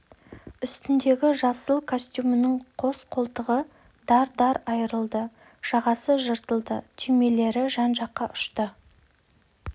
үстіндегі жасыл костюмінің қос қолтығы дар-дар айырылды жағасы жыртылды түймелері жан-жаққа ұшты